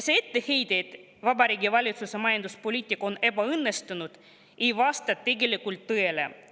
See etteheide, et Vabariigi Valitsuse majanduspoliitika on ebaõnnestunud, ei vasta tegelikult tõele.